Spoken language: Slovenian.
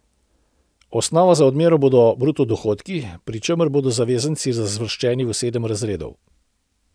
Osnova za odmero bodo bruto dohodki, pri čemer bodo zavezanci razvrščeni v sedem razredov.